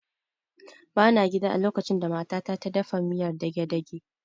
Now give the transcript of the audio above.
Ba na gida a lokacin da mata ta ta dafa miyar dagedagen